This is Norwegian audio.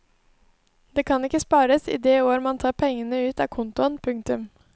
Det kan ikke spares i det år man tar pengene ut av kontoen. punktum